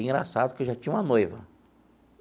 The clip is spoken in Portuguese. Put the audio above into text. Engraçado que eu já tinha uma noiva.